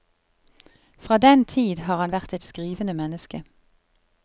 Fra den tid har han vært et skrivende menneske.